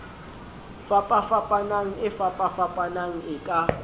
fapafapanang e fapafapanang e ka